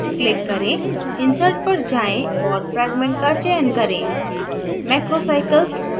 build menu पर click करें insert पर जाएँ और fragment का चयन करें